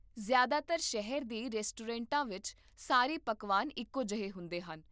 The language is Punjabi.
ਜ਼ਿਆਦਾਤਰ ਸ਼ਹਿਰ ਦੇ ਰੈਸਟੋਰੈਂਟਾਂ ਵਿੱਚ, ਸਾਰੇ ਪਕਵਾਨ ਇੱਕੋ ਜਿਹੇ ਹੁੰਦੇ ਹਨ